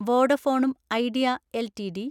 വോഡഫോണും Idea LTD